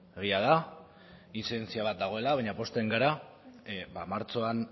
egia da intzidentzia bat dagoela baina pozten gara martxoan